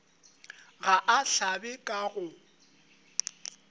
ga a hlabe ka go